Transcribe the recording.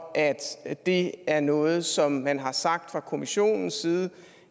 at det er noget som man har sagt fra kommissionens side